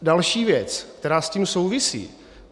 Další věc, která s tím souvisí.